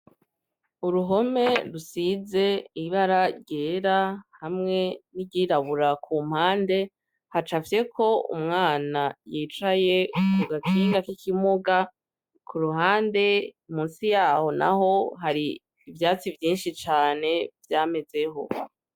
Uruhome rusize ibara ryera hamwe niryirabura ku mpande haca afye ko umwana yicaye ku gakiga k'ikimuga ku ruhande musi yaho na ho hari ivyatsi vyinshi cane vyamezeho.